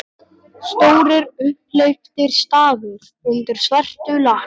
Stórir, upphleyptir stafir undir svörtu lakkinu!